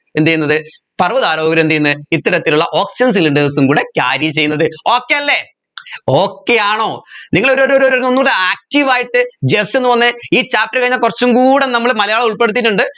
എന്തുചെയ്യുന്നത് പർവ്വതാരോഹർ എന്തുചെയ്യുന്നെ ഇത്തരത്തിലുള്ള oxygen cylinders ഉം കൂടെ carry ചെയ്യുന്നത് okay അല്ല okay ആണോ നിങ്ങൾ ഒരു ഒരു ഒരു ഒന്നൂടെ active ആയിട്ട് just ഒന്ന് വന്നേ ഈ chapter കഴിഞ്ഞാ കുറച്ചുംകൂടെ നമ്മൾ മലയാളം ഉൾപ്പെടുത്തിയിട്ടുണ്ട്